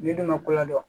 N'i dun ma kɔlɔn dɔn